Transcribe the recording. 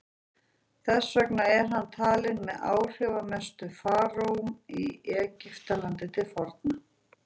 þess vegna er hann talinn með áhrifamestu faraóum í egyptalandi til forna